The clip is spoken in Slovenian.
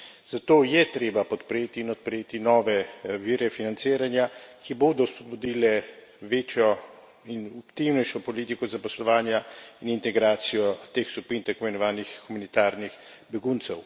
Zato je treba podpreti in odpreti nove vire financiranja, ki bodo spodbudili večjo in aktivnejšo politiko zaposlovanja in integracijo teh skupin tako imenovanih humanitarnih beguncev.